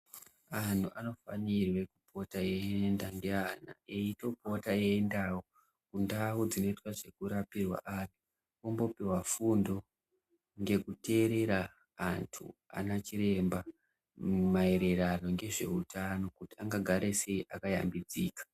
Anhu anofanira kupota eyienda neana, eyitopota eyiendawo kuntawo dzinoite zvekurapirwa ana ,vombopiwa fundo ngekuteerera vantu, ana chiremba maererano ngezvehutano, kuti anga gare seyi akayambidzika.